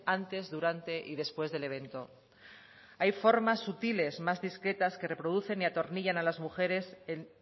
antes durante y después del evento hay formas sutiles más discretas que reproducen y atornillan a las mujeres en